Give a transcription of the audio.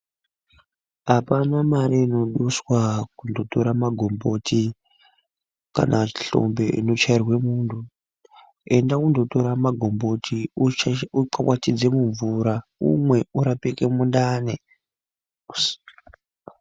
Apana Mari inoduswa pakutorabmagombotj kana hlombe inoduswa Inovhairwanmuntu enda kotora magomboti ukwantisenmumvura umwe urapike mundani.